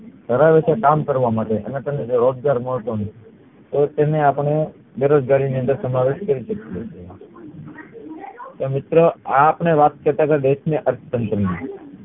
કરાવે છે કામ કરવા માટે અને તમને રોજગાર મળતો નથી તો તેને અપડે બેરોજગારી માં સમાવેશ કરી શકીયે છીએ તો મિત્ર આ અપડે વાત કરતા તા દેશ ના અર્થતંત્ર ની